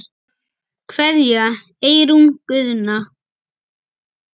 Kveðja, Eyrún Guðna.